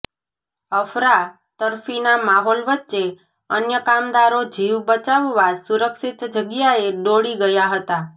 અફરાતફરીના માહોલ વચ્ચે અન્ય કામદારો જીવ બચાવવા સુરક્ષિત જગ્યાએ દોડી ગયા હતા